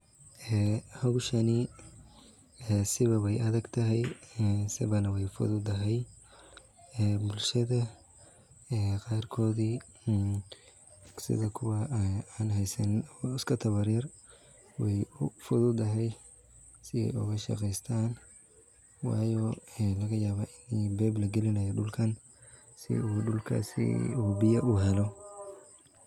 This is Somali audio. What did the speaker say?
Ee howshani ee siba wa adagtahay ee siba na way u fududahay ee bulshada qarkoodi sida kuwa an haysanin oo iska tabarta yar way u fududahay si ay oga shaqeeystan oo laga yaba ini pipe lagelinayo dhulkan si uu dhukaasi uu biyo u helo